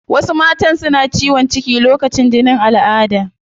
Wasu matan suna ciwon ciki lokacin jinin alada